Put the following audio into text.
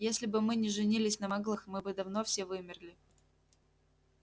если бы мы не женились на маглах мы бы давно все вымерли